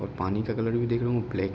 और पानी का कलर भी देख रहे होंगे ब्लैक --